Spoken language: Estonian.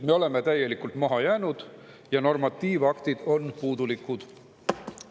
Me oleme täielikult maha jäänud ja normatiivaktid on puudulikud.